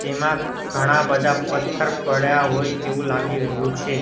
તેમાં ઘણા બધા પથ્થર પડ્યા હોય તેવું લાગી રહ્યું છે.